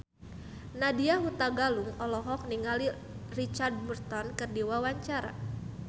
Nadya Hutagalung olohok ningali Richard Burton keur diwawancara